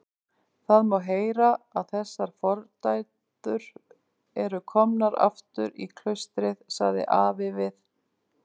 Það má heyra að þessar fordæður eru komnar aftur í klaustrið, sagði afi við